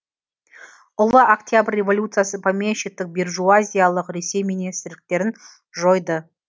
ұлы октябрь революциясы помещиктік бержуазиялық ресей министрліктерін жойды